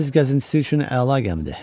Dəniz gəzintisi üçün əla gəmidir.